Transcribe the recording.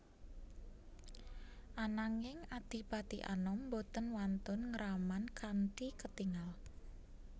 Ananging Adipati Anom boten wantun ngraman kanthi ketingal